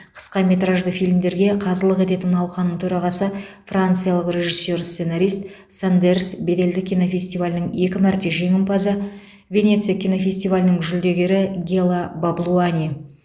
қысқаметражды фильмдерге қазылық ететін алқаның төрағасы франциялық режиссер сценарист сандерс беделді кинофестивалінің екі мәрте жеңімпазы венеция кинофестивалінің жүлдегері гела баблуани